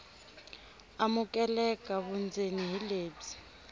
amukeleka vundzeni hi lebyi